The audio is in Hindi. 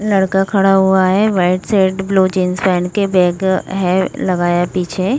लड़का खड़ा हुआ है व्हाइट शर्ट ब्लू जींस पेहन के। बैग है लगाया पीछे।